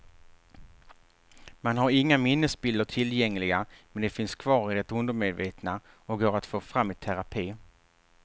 Man har inga minnesbilder tillgängliga men de finns kvar i det undermedvetna och går att få fram i terapi.